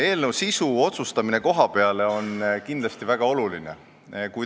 Eelnõu sisu – otsustamise viimine kohapeale – on kindlasti väga oluline.